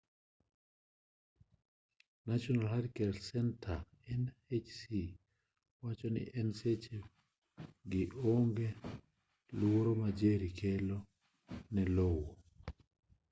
national hurricane center nhc wacho ni gi e seche gi onge luoro ma jerry kelo ne lowo